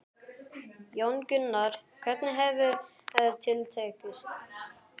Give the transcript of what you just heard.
Jón Gunnar, hvernig hefur til tekist?